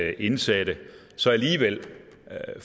at indsatte så alligevel